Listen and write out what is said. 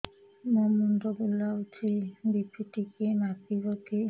ମୋ ମୁଣ୍ଡ ବୁଲାଉଛି ବି.ପି ଟିକିଏ ମାପିବ କି